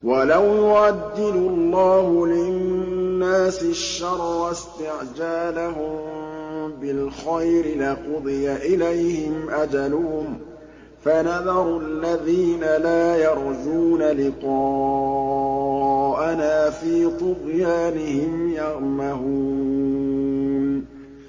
۞ وَلَوْ يُعَجِّلُ اللَّهُ لِلنَّاسِ الشَّرَّ اسْتِعْجَالَهُم بِالْخَيْرِ لَقُضِيَ إِلَيْهِمْ أَجَلُهُمْ ۖ فَنَذَرُ الَّذِينَ لَا يَرْجُونَ لِقَاءَنَا فِي طُغْيَانِهِمْ يَعْمَهُونَ